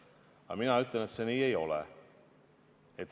Aga mina ütlen, et nii see ei ole.